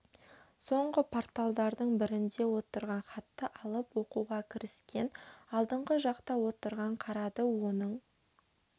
соңғы парталардың бірінде отырған хатты алып оқуға кіріскен алдыңғы жақта отырған қарады оның